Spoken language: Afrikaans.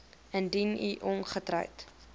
indien u ongetroud